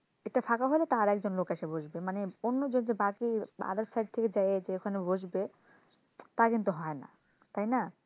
এটা ফাঁকা হলে একজন লোক এসে বসবে অন্য যদি বাকি other side থেকে যদি যায়ে যে ওখানে বসবে তা কিন্তু হয়না তাইনা,